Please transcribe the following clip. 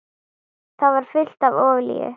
Það var fullt af olíu.